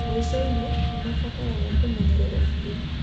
Mwico-inĩ, nĩ mabataraga kũmenyererũo biũ.